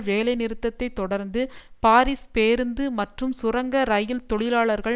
வேலைநிறுத்தத்தை தொடர்ந்து பாரிஸ் பேருந்து மற்றும் சுரங்க ரயில் தொழிலாளர்கள்